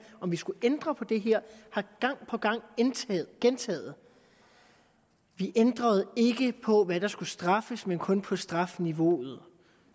om vi skulle ændre på det her gang på gang gentaget vi ændrede ikke på hvad der skulle straffes men kun på strafniveauet